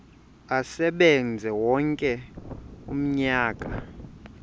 asebenze wonke umnyaka